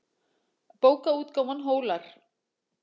Bókaútgáfan Hólar.